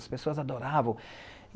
As pessoas adoravam.